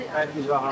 Xankəndliyəm.